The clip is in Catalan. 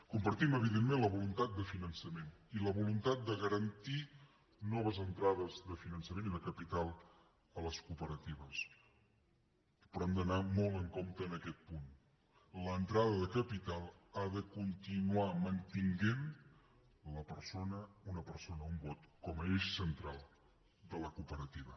compartim evidentment la voluntat de finançament i la voluntat de garantir noves entrades de finançament i de capital a les cooperatives però hem d’anar molt en compte en aquest punt l’entrada de capital ha de continuar mantenint la persona una persona un vot com a eix central de la cooperativa